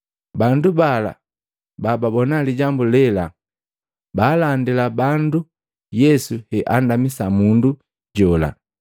Bandu bala bababona lijambu lela baalandila bandu Yesu heandamisa mundu jola.